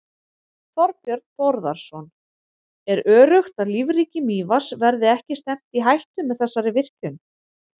Þorbjörn Þórðarson: Er öruggt að lífríki Mývatns verði ekki stefnt í hættu með þessari virkjun?